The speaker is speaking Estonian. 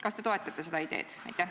Kas te toetate seda ideed?